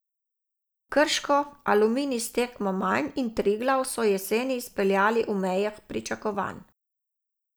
Krško, Aluminij s tekmo manj in Triglav so jesen izpeljali v mejah pričakovanj.